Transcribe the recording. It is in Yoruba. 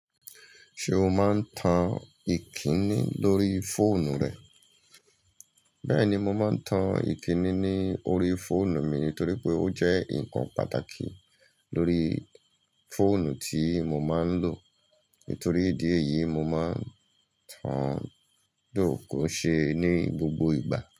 Ṣé o máa ń tan ìkíni lórí fóònù rẹ? Bẹ́ẹ̀ni, mo máa ń tan ìkíni ní orí fóònù mi nítorí pé ó jẹ́ ǹkan pàtàkì lórí fóònù tí mo máa ń lò. Nitor ìdí èyí mo man tan, though kò n ṣe ní gbogbo ìgbà.